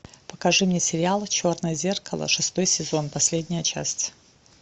покажи мне сериал черное зеркало шестой сезон последняя часть